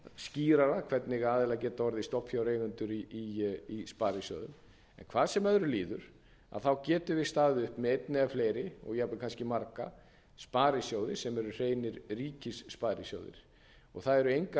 skýrara hvernig aðilar geta orðið stofnfjáreigendur í sparisjóðum en hvað sem öðru líður getum við staðið uppi með einn eða fleiri og jafnvel kannski marga sparisjóði sem eru hreinir ríkissparisjóðir og það eru engar